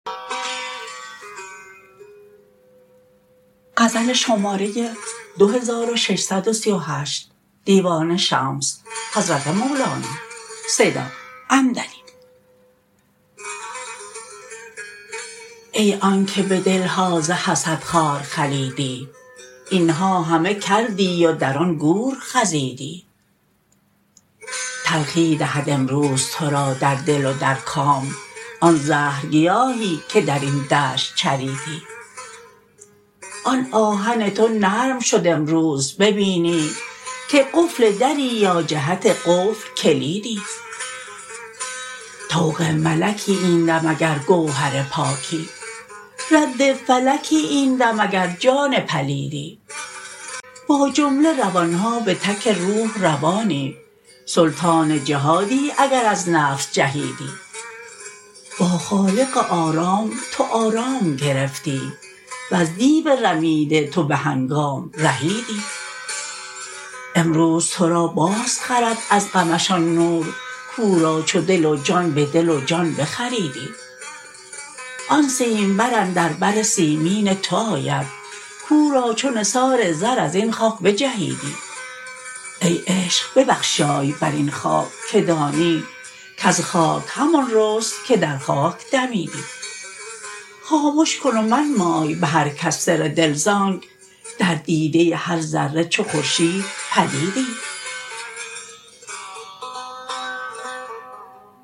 ای آنک به دل ها ز حسد خار خلیدی این ها همه کردی و در آن گور خزیدی تلخی دهد امروز تو را در دل و در کام آن زهرگیاهی که در این دشت چریدی آن آهن تو نرم شد امروز ببینی که قفل دری یا جهت قفل کلیدی طوق ملکی این دم اگر گوهر پاکی رد فلکی این دم اگر جان پلیدی با جمله روان ها به تک روح روانی سلطان جهادی اگر از نفس جهیدی با خالق آرام تو آرام گرفتی وز دیو رمیده تو به هنگام رهیدی امروز تو را بازخرد از غمش آن نور کو را چو دل و جان به دل و جان بخریدی آن سیمبر اندر بر سیمین تو آید کو را چو نثار زر از این خاک بچیدی ای عشق ببخشای بر این خاک که دانی کز خاک همان رست که در خاک دمیدی خامش کن و منمای به هر کس سر دل ز آنک در دیده هر ذره چو خورشید پدیدی